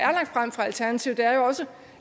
alternativet er